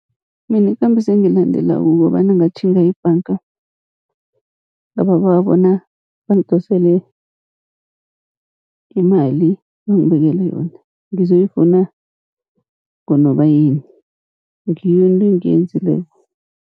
Mina ikambiso engiyilandelako, kukobana ngatjhinga ebhanga ngababawa bona bangidosele imali, bangibekele yona ngizoyifuna ngoNobayeni. Ngiyo into engiyenzileko.